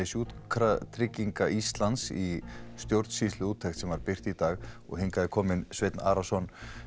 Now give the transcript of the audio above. Sjúkratrygginga Íslands í stjórnsýsluúttekt sem birt var í dag og hingað er kominn Sveinn Arason